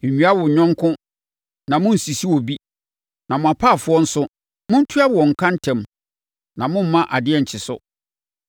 “ ‘Nwia wo yɔnko na monnsisi obi. “ ‘Na mo apaafoɔ nso, montua wɔn ka ntɛm na mommma adeɛ nkye so.